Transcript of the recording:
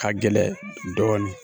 Ka gɛlɛ dɔɔni.